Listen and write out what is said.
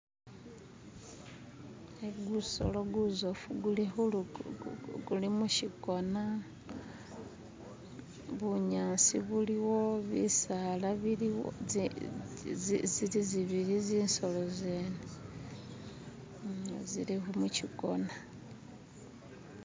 Igu gusolo guzofu guli kulugu guli mushigona, bunyaasi buliwo bisaala biliwo zi zili zibili zisolo zene zili mushigona.